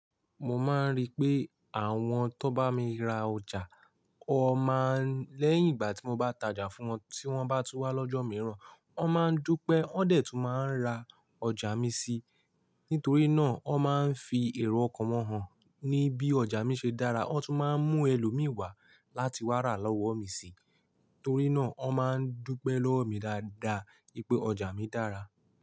Mo máa ń rí pé àwọn tó bá mi ra ọjà, o máa ń lẹ́yìn ìgbà tí mo bá tajà fún wọn, tí wọ́n bá tún wá lọ́jọ́ mìíràn, wọ́n máa ń dúpẹ́, wọ́n dẹ̀ tún máa ń ra ọjà mi si. Nítorí náà, wọ́n máa ń fi èrò okan han, ní bí ọjà mi ṣe dára, wọ́n tún máa ń mú ẹlòmíì wá láti wá ra lọ́wọ́ mi sì. Torí náà, wọ́n máa ń dúpẹ́ lọ́wọ́ mi dáadáa wipé ọjà mi dára.